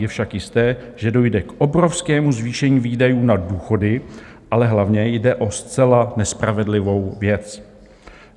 Je však jisté, že dojde k obrovskému zvýšení výdajů na důchody, ale hlavně jde o zcela nespravedlivou věc.